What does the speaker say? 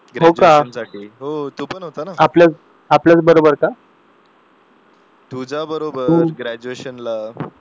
तुझ्याबरोबर ग्रॅज्युएशनला